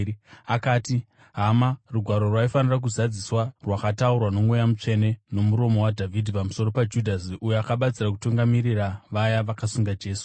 akati, “Hama, Rugwaro rwaifanira kuzadziswa rwakataurwa noMweya Mutsvene nomuromo waDhavhidhi pamusoro paJudhasi, uyo akabatsira kutungamirira vaya vakasunga Jesu,